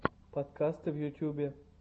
подкасты в ютьюбе